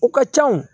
O ka ca wo